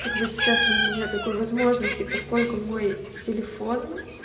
как бы сейчас у меня нет такой возможности поскольку мой телефон